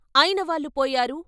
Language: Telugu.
అయినవాళ్ళు పోయారు.